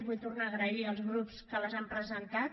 vull tornar a agrair als grups que les han presentat